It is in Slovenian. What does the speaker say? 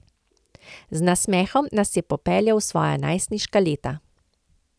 Z nasmehom nas je popeljal v svoja najstniška leta.